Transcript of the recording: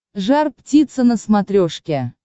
жар птица на смотрешке